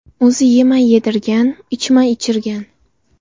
O‘zi yemay yedirgan, ichmay ichirgan.